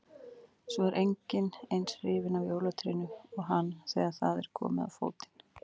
Svo er enginn eins hrifinn af jólatrénu og hann þegar það er komið á fótinn